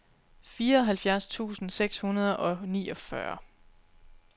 fireoghalvfjerds tusind seks hundrede og niogfyrre